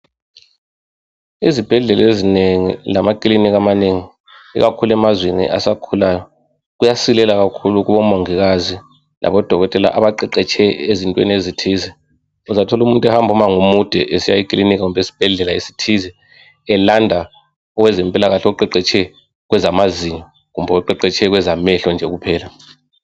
Izibhedlela ezinengi lamakilinika amanengi ikakhulu emazweni asakhulayo kuyasilela kakhulu kubomongikazi labodokotela abaqeqetshe ezintweni ezithize. Uzathola umuntu ehamba umango omude esiya ekilinika kumbe esibhedlela esithize, elanda owezempilakahle oqeqetshe kwezamazinyo kumbe oqeqetshe kwezamehlo nje kuphela.